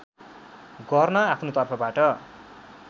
गर्न आफ्नो तर्फबाट